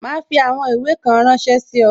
Ma fi àwọn ìwé kan ránsẹ́ sí ọ